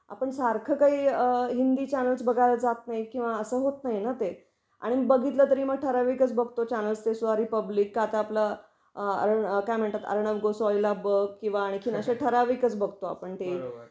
आपण सारख काही हिंदी चॅनेल्स बघायला जात नाही किंवा अस होत नाहीना ते आणि बघितल तरी मग ठरावीकच बघतो चॅनेल्स ते सॉरी पब्लिक का त आपल अ काय म्हणतात अर्णब गोस्वामीला बघ किंवा आणखीनच अश्या ठरावीक बघतो ते.